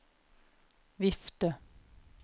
vifte